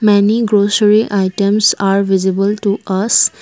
many grocery items are visible to us.